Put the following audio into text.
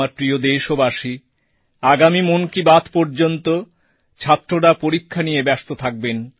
আমার প্রিয় দেশবাসী আগামী মন কি বাত পর্যন্ত ছাত্ররা পরীক্ষা নিয়ে ব্যস্ত থাকবেন